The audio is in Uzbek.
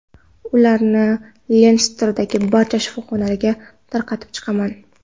Ularni Lensterdagi barcha shifoxonalarga tarqatib chiqaman.